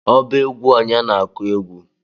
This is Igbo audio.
ọba egwu onye na-egwu?